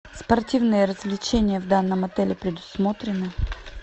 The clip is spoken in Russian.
спортивные развлечения в данном отеле предусмотрены